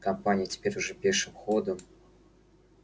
компания теперь уже пешим ходом